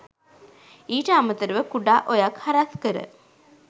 ඊට අමතරව කුඩා ඔයක් හරස් කර